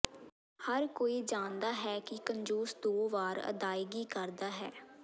ਹਰ ਕੋਈ ਜਾਣਦਾ ਹੈ ਕਿ ਕੰਜੂਸ ਦੋ ਵਾਰ ਅਦਾਇਗੀ ਕਰਦਾ ਹੈ